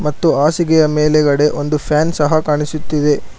ಮತ್ತು ಹಾಸಿಗೆಯ ಮೇಲೆಗಡೆ ಒಂದು ಫ್ಯಾನ್ ಸಹ ಕಾಣಿಸುತ್ತಿದೆ.